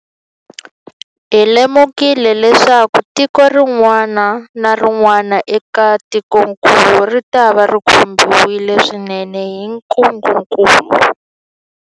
Hi lemukile leswaku tiko rin'wana na rin'wana eka tikokulu ritava ri khumbiwile swinene hi ntungukulu.